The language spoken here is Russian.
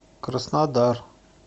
краснодар